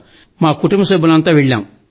మా కుటుంబ సభ్యులమందరం వెళ్లాం